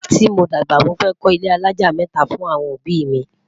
tí mọ dàgbà, mọ fẹ ko ilé alájá mẹta fún awọn òbí mi